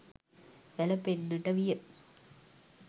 වැළපෙන්නට විය.